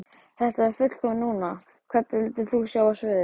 Þetta er fullkomið núna Hvern vildir þú sjá á sviði?